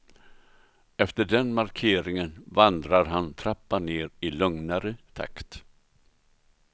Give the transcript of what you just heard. Efter den markeringen vandrar han trappan ner i lugnare takt.